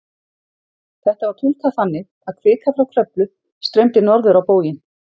Þetta var túlkað þannig að kvika frá Kröflu streymdi norður á bóginn.